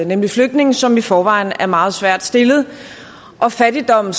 nemlig flygtninge som i forvejen er meget svært stillet fattigdom